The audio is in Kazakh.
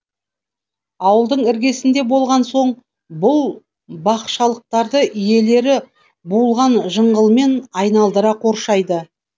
ауылдың іргесінде болған соң бұл бақшалықтарды иелері буылған жыңғылмен айналдыра қоршайды